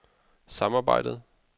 samarbejdet